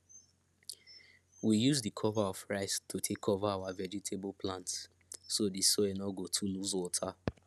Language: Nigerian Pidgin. we use the cover of rice to take cover our vegetable plants so the soil no go too lose water